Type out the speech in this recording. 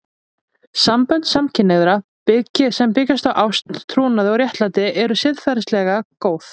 Sambönd samkynhneigðra sem byggja á ást, trúnaði og réttlæti eru siðferðilega góð.